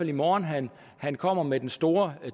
i morgen han kommer med den store